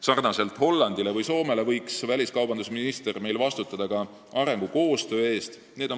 Sarnaselt Hollandi ja Soomega võiks väliskaubandusminister ka meil vastutada arengukoostöö eest.